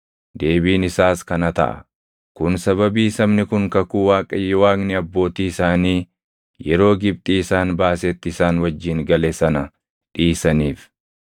Deebiin isaas kana taʼa; “Kun sababii sabni kun kakuu Waaqayyo Waaqni abbootii isaanii yeroo Gibxii isaan baasetti isaan wajjin gale sana dhiisaniif.